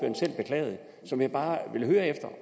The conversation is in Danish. som jeg bare vil høre